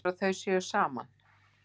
Heldurðu að þau séu saman?